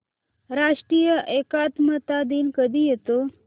राष्ट्रीय एकात्मता दिन कधी येतो